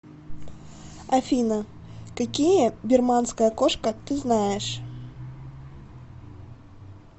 афина какие бирманская кошка ты знаешь